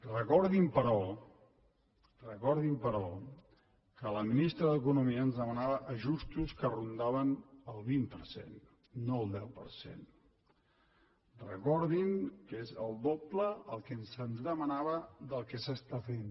recordin però recordin però que la ministra d’economia ens demanava ajustos que rondaven el vint per cent no el deu per cent recordin que és el doble el que se’ns demanava del que s’està fent